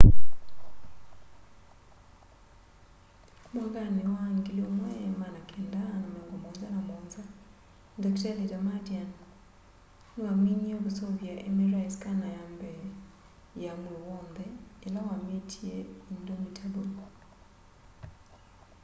mwakanĩ wa 1977 dakitalĩ damadian nĩwamĩnĩebkũseũvya mri skana ya mbee ya mwĩì wonthe ĩla wa mĩtĩe indomitable